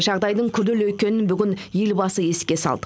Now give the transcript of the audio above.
жағдайдың күрделі екенін бүгін елбасы еске салды